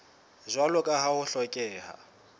jwalo ka ha ho hlokeha